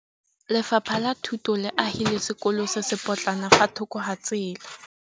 Lefapha la Thuto le agile sekôlô se se pôtlana fa thoko ga tsela.